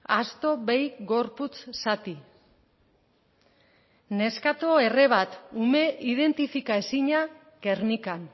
asto behi gorputz zati neskato erre bat ume identifika ezina gernikan